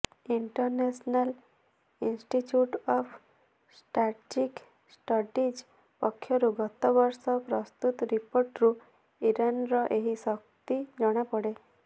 international institute of strategic studies ପକ୍ଷରୁ ଗତ ବର୍ଷ ପ୍ରସ୍ତୁତ ରିପୋର୍ଟରୁ ଇରାନର ଏହି ଶକ୍ତି ଜଣାପଡେ